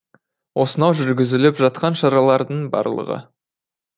осынау жүргізіліп жатқан шаралардың барлығы